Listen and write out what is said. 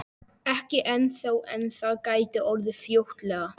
Ekki ennþá en það gæti orðið fljótlega.